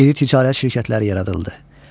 İri ticarət şirkətləri yaradıldı.